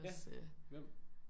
Ja. Hvem?